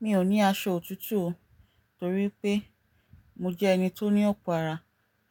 Mi ò ní aṣọ òtútù o torí pé mo jẹ́ ẹni tó ní ọ̀pọ̀ ara